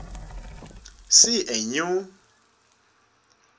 se a new